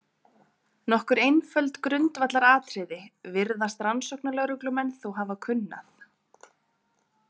Nokkur einföld grundvallaratriði virðast rannsóknarlögreglumenn þó hafa kunnað.